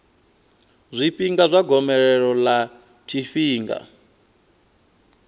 zwifhinga zwa gomelelo ḽa tshifhinga